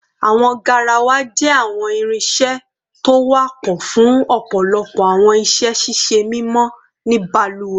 Awọn garawa jẹ awọn irinṣẹ to wapọ fun ọpọlọpọ awọn iṣẹ ṣiṣe mimọ ni baluwe